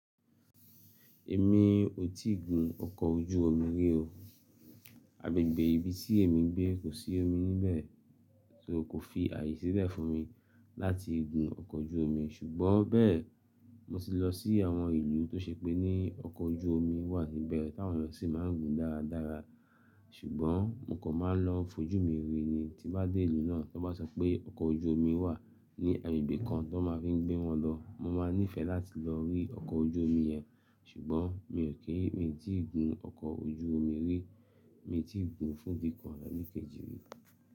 Èmi ò tíì gun ọkọ̀ ojú omi rí o. Agbègbè ibi tí èmi gbé kò sí omi níbẹ̀, so kò fi ààyè sílẹ̀ fún mi láti gun ọkọ̀ ojú omi. Ṣùgbọ́n bẹ́ẹ̀, mo ti lọ sí àwọn ìlú tó ṣe pé ní ọkọ̀ ojú omi wà níbẹ̀ táwọn èyàn sì máa ń gun dáradára. Ṣùgbọ́n mo kò máa lọ n fojú mi rí. Tí bá dé ìlú náà, tí wọ́n bá sọ pé ọkọ̀ ojú omi wà ní agbègbè kan tó máa fi ń gbé wọn lọ, mo máa nífẹ̀ẹ́ láti lọ rí ọkọ̀ ojú omi yẹn. Ṣùgbọ́n mi ò, mi ò tí gun ọkọ̀ ojú omi rí. Mi ò tí ì gun fún bíi kan àbí kejì rí.